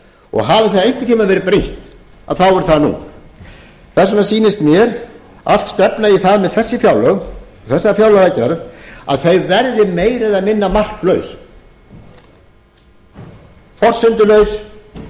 og hafi það einhvern tíma verið brýnt þá er það nú þess vegna sýnist mér allt stefna í það með þessi fjárlög og þessa fjárlagagerð að þau verði meira eða minna marklaus forsendulaus og framtíðarlaus það